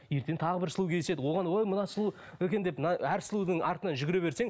ертең тағы бір сұлу кездеседі оған ой мынау сұлу екен деп мына әр сұлудың артынан жүгіре берсең